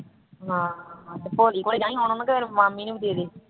ਹਾਂ ਹਾਂ ਮਾਮੀ ਨੂੰ ਵੀ ਦੇਦੇ